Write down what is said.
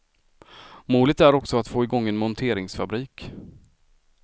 Målet är att också få igång en monteringsfabrik.